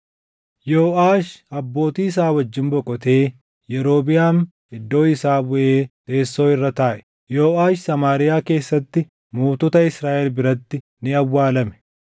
Yooʼaash abbootii isaa wajjin boqotee Yerobiʼaam iddoo isaa buʼee teessoo irra taaʼe. Yooʼaash Samaariyaa keessatti mootota Israaʼel biratti ni awwaalame.